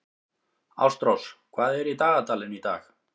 Ástrós, hvað er í dagatalinu í dag?